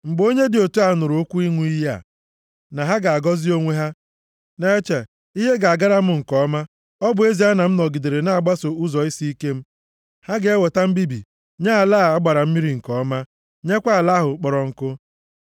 Mgbe onye dị otu a nụrụ okwu ịṅụ iyi a, na ha ga-agọzi onwe ha, na-eche, “Ihe ga-agara m nke ọma, ọ bụ ezie na m nọgidere na-agbaso ụzọ isiike m.” Ha ga-eweta mbibi nye ala a gbara mmiri nke ọma nyekwa ala ahụ kpọrọ nkụ.